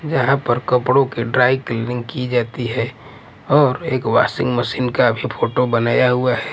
जहाँ पर कपड़ों के ड्राई क्लीनिंग की जाती हैऔर एक वशिंग मशीन का भी फोटो बनाया हुआ है।